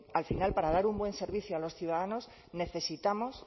al final para dar un buen servicio a los ciudadanos necesitamos